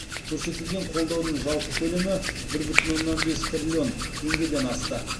көрсетілген қолдаудың жалпы көлемі бір бүтін оннан бес триллион теңгеден асты